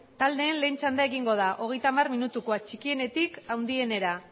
taldeen lehen txanda egingo da hogeita hamar minutukoa txikienetik handienera